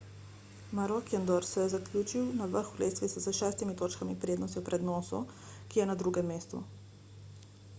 maroochydore je zaključil na vrhu lestvice s šestimi točkami prednosti pred nooso ki je na drugem mestu